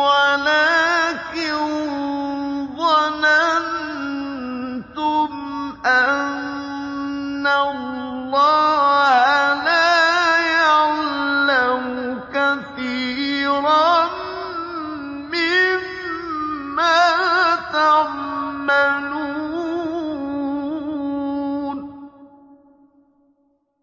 وَلَٰكِن ظَنَنتُمْ أَنَّ اللَّهَ لَا يَعْلَمُ كَثِيرًا مِّمَّا تَعْمَلُونَ